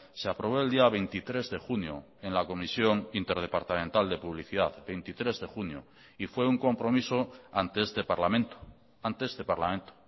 se aprobó el día veintitrés de junio en la comisión interdepartamental de publicidad veintitrés de junio y fue un compromiso ante este parlamento ante este parlamento